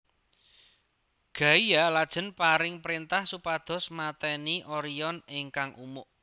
Gaia lajeng paring prentah supados mateni Orion ingkang umuk